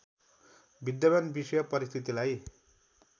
विद्यमान विषम परिस्थितिलाई